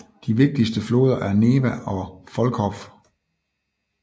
De vigtigste floder er Neva og Volkhov